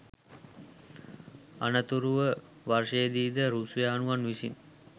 අනතුරුවවර්ෂයේදී ද රුසියානුවන් විසින්